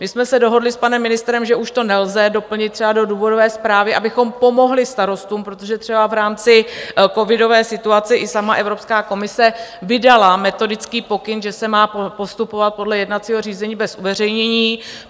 My jsme se dohodli s panem ministrem, že už to nelze doplnit třeba do důvodové zprávy, abychom pomohli starostům, protože třeba v rámci covidové situace i sama Evropská komise vydala metodický pokyn, že se má postupovat podle jednacího řízení bez uveřejnění.